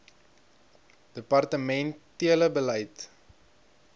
departemen tele beleid